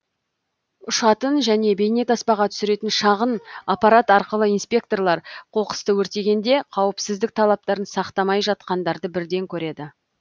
ұшатын және бейнетаспаға түсіретін шағын аппарат арқылы инспекторлар қоқысты өртегенде қауіпсіздік талаптарын сақтамай жатқандарды бірден көреді